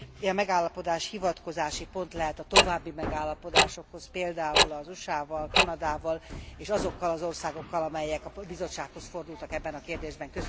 Egy ilyen megállapodás hivatkozási pont lehet a további megállapodásokhoz például az USA val, Kanadával, és azokkal az országokkal, amelyek a Bizottsághoz fordultak ebben a kérdésben.